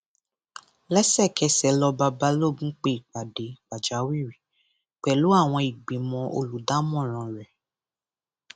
lẹsẹkẹsẹ lọba balógun pe ìpàdé pàjáwìrì pẹlú àwọn ìgbìmọ olùdámọràn rẹ